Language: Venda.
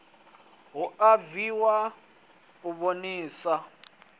hu a bviwa u vhonisa